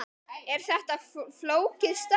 Er þetta flókið starf?